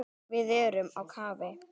Við erum á kafi.